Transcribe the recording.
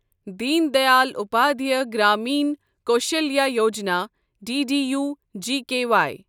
Din Dayal Upadhyaya Grameen Kaushalya Yojana, D D U G K Y